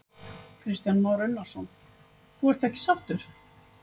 Kristján Már Unnarsson: Þú ert ekki sáttur?